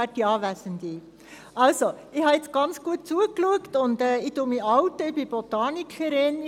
Ich habe jetzt also ganz gut zugeschaut und oute mich jetzt: Ich bin Botanikerin.